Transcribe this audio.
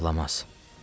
Anası ağladı.